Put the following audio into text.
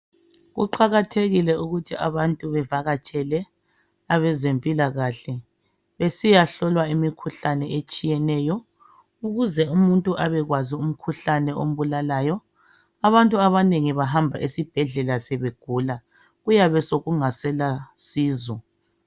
Kuqakathekile ukuthi abantu bevakatshele abezempilakahle besiyahlola imikhuhlane etshiyeneyo ukuze umuntu abe kwazi umkhuhlane ombulalayo abantu abanengi bahamba esibhedlela sebegula kuyabe sokungasela sizo.